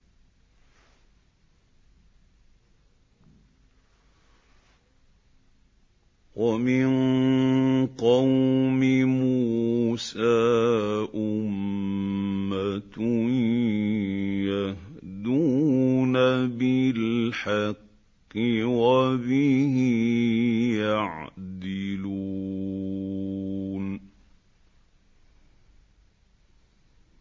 وَمِن قَوْمِ مُوسَىٰ أُمَّةٌ يَهْدُونَ بِالْحَقِّ وَبِهِ يَعْدِلُونَ